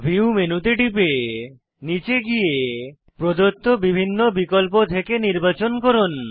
view মেনুতে টিপে নীচে গিয়ে প্রদত্ত বিভিন্ন বিকল্প থেকে নির্বাচন করুন